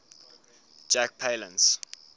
jack palance